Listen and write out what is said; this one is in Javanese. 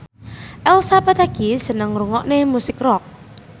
Elsa Pataky seneng ngrungokne musik rock